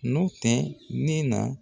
N'o tɛ ne na